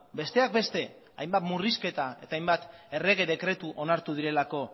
besteak beste hainbat murrizketa eta hainbat errege dekretu onartu direlako